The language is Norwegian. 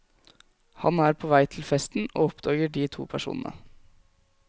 Han er på vei til festen, og oppdager de to personene.